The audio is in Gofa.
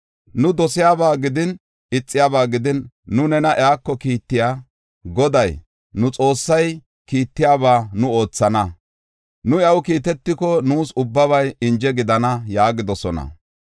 Nu dosiyaba gidin, ixiyaba gidin, nu nena iyako kiittiya Goday, nu Xoossay kiittiyaba nu oothana. Nu iyaw kiitetiko, nuus ubbabay inje gidana” yaagidosona.